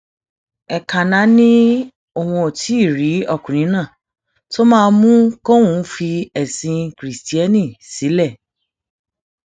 nǹkanná ni òun ò tí ì rí ọkùnrin náà tó máa mú kóun fi ẹsìn kirisítérì sílẹ